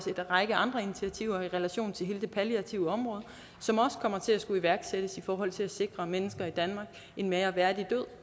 række andre initiativer i relation til hele det palliative område som kommer til at skulle iværksættes i forhold til at sikre mennesker i danmark en mere værdig død